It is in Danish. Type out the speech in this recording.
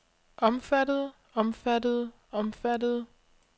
omfattede omfattede omfattede